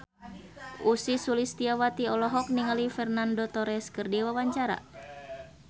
Ussy Sulistyawati olohok ningali Fernando Torres keur diwawancara